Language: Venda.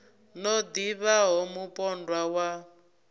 no ḓi vhaho mupondwa wa